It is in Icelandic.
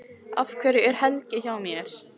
Af hverju er Helgi hjá mér?